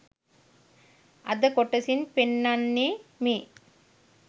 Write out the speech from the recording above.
අද කොටසින් පෙන්නන්නේමේ